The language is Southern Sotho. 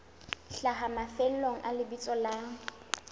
hlaha mafelong a lebitso la